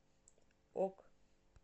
ок